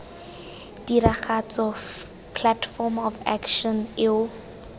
tiragatso platform of action eo